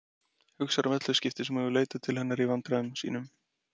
Hugsar um öll þau skipti sem hún hefur leitað til hennar í vandræðum sínum.